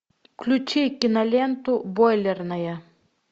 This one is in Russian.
включи киноленту бойлерная